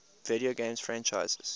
video game franchises